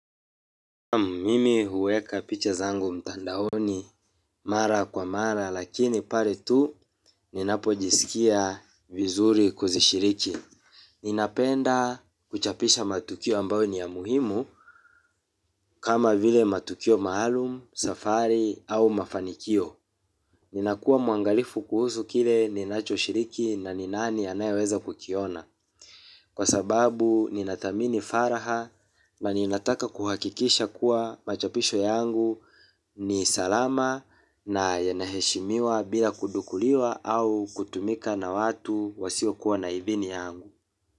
Mimi huweka picha zangu mtandaoni mara kwa mara lakini pale tu ninapojisikia vizuri kuzishiriki. Ninapenda kuchapisha matukio ambayo ni ya muhimu kama vile matukio maalum, safari au mafanikio. Ninakuwa mwangalifu kuhusu kile ninachoshiriki na ni nani anayeweza kukiona. Kwa sababu ninathamini faraha na ninataka kuhakikisha kuwa machapisho yangu ni salama na yanaheshimiwa bila kudukuliwa au kutumika na watu wasio kuwa na idhini yangu.